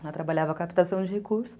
Ela trabalhava captação de recursos.